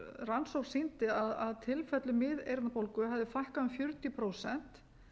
rannsókn sýndi að tilfellum miðeyrnabólgu hafði fækkað um fjörutíu prósent